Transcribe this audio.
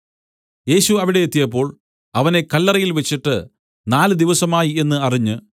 യേശു അവിടെ എത്തിയപ്പോൾ അവനെ കല്ലറയിൽ വെച്ചിട്ട് നാലുദിവസമായി എന്നു അറിഞ്ഞ്